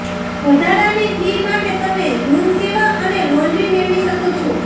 વધારાની ફી માટે તમે રૂમ સેવા અને લોન્ડ્રી મેળવી શકો છો